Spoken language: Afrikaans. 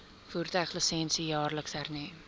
voertuiglisensie jaarliks hernu